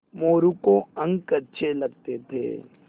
मोरू को अंक अच्छे लगते थे